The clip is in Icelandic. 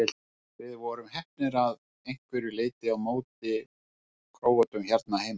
Við vorum heppnir að einhverju leiti á móti Króötum hérna heima.